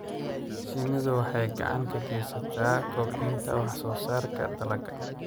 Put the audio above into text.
Shinnidu waxay gacan ka geysataa kobcinta wax-soo-saarka dalagga.